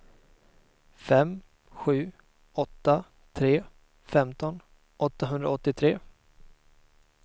fem sju åtta tre femton åttahundraåttiotre